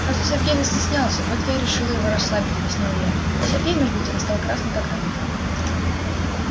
просто сергей застеснялся вот я и решила его расслабить объяснила я а сергей между тем стал красный как рак